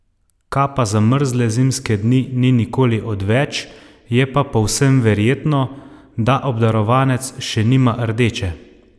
Kapa za mrzle zimske dni ni nikoli odveč, je pa povsem verjetno, da obdarovanec še nima rdeče!